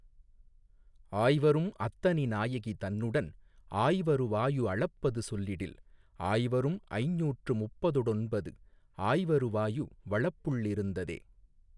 ஆய்வரும் அத்தனி நாயகி தன்னுடன் ஆய்வரு வாயு அளப்பது சொல்லிடில் ஆய்வரும் ஐஞ்நூற்று முப்பதொடொன்பது ஆய்வருவாயு வளப்புள்ளிருந்ததே.